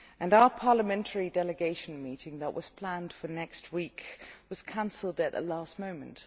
Our parliamentary delegation meeting, which was planned for next week, was cancelled at the last moment.